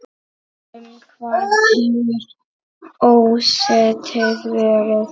Um hvað hefur ósættið verið?